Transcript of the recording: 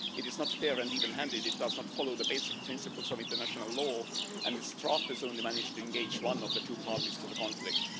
It is not fair and even handed, it does not follow the basic principles of international law and its drafters only managed to engage one of the two parties to the conflict.